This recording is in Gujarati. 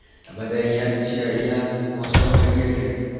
તમે તો અહિયાં જ છો મોજ શોખ કરીએ છીએ